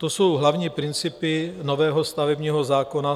To jsou hlavní principy nového stavebního zákona.